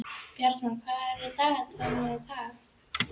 Bjarmar, hvað er á dagatalinu í dag?